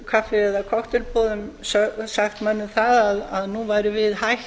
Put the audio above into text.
kaffi eða kokteilboðum sagt mönnum það að nú værum við hætt